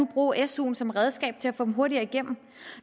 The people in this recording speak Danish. bruge suen som redskab til at få dem hurtigere igennem